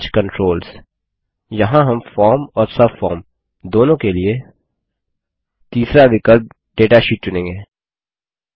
arrange controls यहाँ हम दोनों के लिए फॉर्म और सबफार्म के लिए तीसरा विकल्प डाटाशीट चुनेंगे